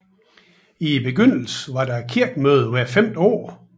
I begyndelsen var der kirkemøde hvert femte år